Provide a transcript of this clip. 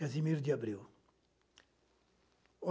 Casimiro de Abreu.